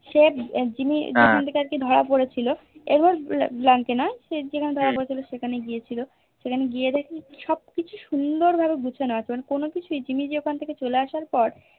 সে জিম্মি যখন থেকে আরকি ধরা পড়েছিল এবং জানতোনা সে যেখানে ধরা পড়েছিল সেখানে গিয়েছিলো সেখানে গিয়ে দেখছে সবকিছু সুন্দর ভাবে গুছানো আছে মানে কোনো কিছুই জিম্মি যে ওখান থেকে চলে আসার পর